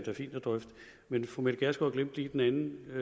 er fint at drøfte men fru mette gjerskov glemte lige den anden